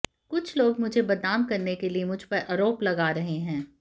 कुछ लोग मुझे बदनाम करने के लिए मुझ पर आरोप लगा रहे हैं